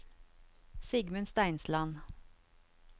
Sigmund Steinsland